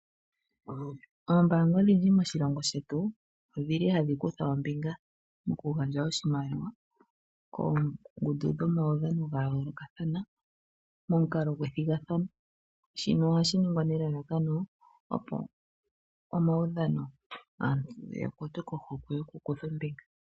Oombanga odhindji moshilongo shetu odhili hadhi kutha ombinga mokugandja oshimaliwa koongundu dhomaudhano dha yoolokathana momukalo gwethigathano shino ohashi ningwa nelalakano opo aantu ya kwatwe kohokwe yokukutha ombinga.